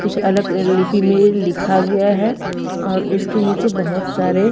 कुछ अलग लिपि में लिखा गया है और उसके निचे बोहोत सारे --